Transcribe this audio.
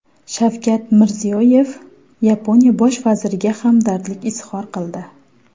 Shavkat Mirziyoyev Yaponiya bosh vaziriga hamdardlik izhor qildi.